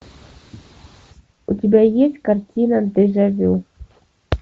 у тебя есть картина дежа вю